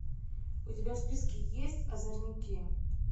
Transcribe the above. у тебя в списке есть озорники